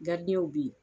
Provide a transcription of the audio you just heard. bɛ yen